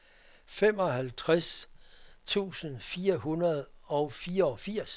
femoghalvtreds tusind fire hundrede og fireogfirs